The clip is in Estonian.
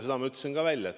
Selle ma ütlesin ka välja.